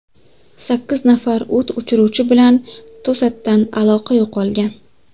Sakkiz nafar o‘t o‘chiruvchi bilan to‘satdan aloqa yo‘qolgan.